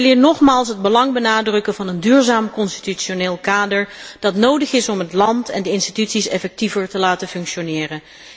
Ik wil hier nogmaals het belang benadrukken van een duurzaam constitutioneel kader, dat nodig is om het land en de instituties effectiever te laten functioneren.